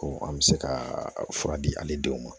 Ko an bɛ se ka fura di ale denw ma